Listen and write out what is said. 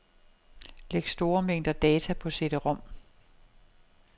Læg store mængder data på cd-rom.